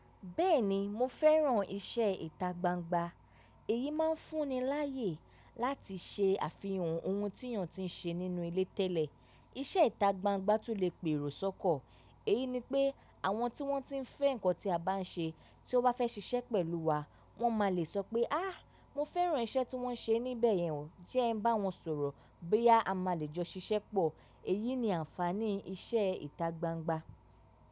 Bẹ́ẹ̀ni mo fẹ́ràn iṣẹ́ ìta gbangba, èyí máa ń fún ni láàyè láti ṣe àfihàn ohun tí èèyàn ti ń ṣe nínú ilé tẹ́lẹ̀. Iṣẹ́ ìta gbangba tún lè pèrò sọ́kọ. Èyí ni pé àwọn tí wọ́n ti ń fẹ́ nǹkan tí a bá ń ṣe, tí wọ́n bá fẹ́ ṣiṣẹ́ pẹ̀lú wa, wọ́n máa le sọ pé "áà, mo fẹ́ràn iṣẹ́ tí wọ́n ṣe níbẹ̀ yẹn o", jẹ́ ẹ ń bá wọn sọ̀rọ̀ boya a máa le jọ ṣiṣẹ́ pọ̀. Èyí ni ànfàní iṣẹ́ ìta gbangba.